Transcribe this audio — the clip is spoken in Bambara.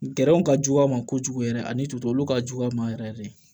Gɛrɛnw ka jugu a ma kojugu yɛrɛ ani tubabuw ka jugu a ma yɛrɛ yɛrɛ de